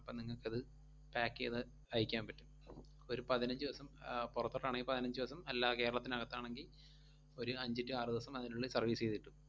അപ്പം നിങ്ങക്കത് pack ചെയ്ത് അയക്കാൻ പറ്റും. ഒരു പതിനഞ്ച് ദിവസം ആഹ് പൊറത്തോട്ടാണെങ്കി പതിനഞ്ച് ദിവസം, അല്ലാതെ കേരളത്തിന് അകത്താണെങ്കി ഒരു അഞ്ച് to ആറു ദിവസം, അതിനുള്ളിൽ service ചെയ്തു കിട്ടും.